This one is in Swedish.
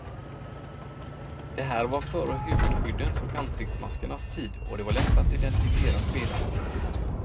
Det här var före huvudskyddens och ansiktsmaskernas tid och det var lätt att identifiera spelarna.